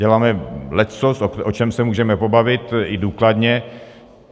Děláme leccos, o čem se můžeme pobavit i důkladně.